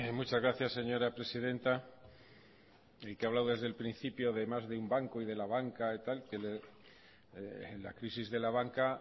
muchas gracias señora presidenta el que ha hablado desde el principio de más un banco y de la banca y tal la crisis de la banca